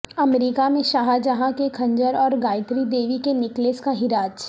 امریکہ میں شاہجہاں کے خنجر اور گائتری دیوی کے نیکلس کا ہراج